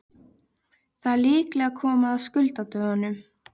Það er líklega komið að skuldadögunum.